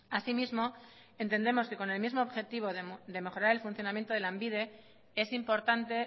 así mismo entendemos que con el mismo objetivo de mejorar el funcionamiento de lanbide es importante